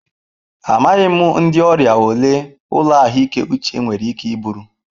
Amaghị m ndị ọrịa ole ụlọ ahụike uche nwere ike iburu.